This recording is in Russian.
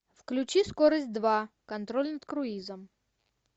включи скорость два контроль над круизом